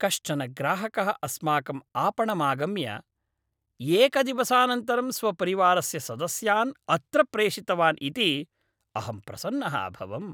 कश्चन ग्राहकः अस्माकम् आपणमागम्य एकदिवसानन्तरं स्वपरिवारस्य सदस्यान् अत्र प्रेषितवान् इति अहं प्रसन्नः अभवम्।